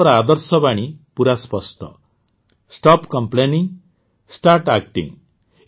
ସେମାନଙ୍କ ଆଦର୍ଶବାଣୀ ପୂରା ସ୍ପଷ୍ଟ ଷ୍ଟପ୍ କମ୍ପ୍ଲେନିଂ ଷ୍ଟାର୍ଟ ଏକ୍ଟିଂ